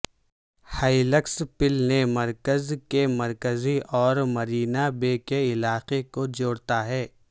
helix پل نے مرکز کے مرکز اور مرینا بے کے علاقے کو جوڑتا ہے